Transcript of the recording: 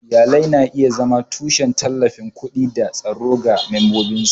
Iyalai na iya zama tushen tallafin kuɗi da tsaro ga membobinsu.